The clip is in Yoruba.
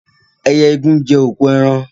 Ẹyẹ igún jẹ́ òkú eran